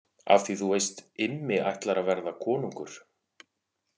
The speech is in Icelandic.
Af því þú veist Immi ætlar að verða konungur.